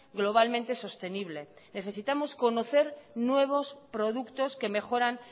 globalmente sostenible necesitamos conocer nuevos productos que mejoran